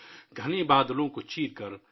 گھنے بادلوں کو چیرکر